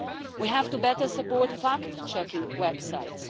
We have to better support fact-checking websites.